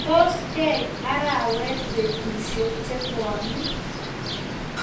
Tos keit arawet petushek che buani?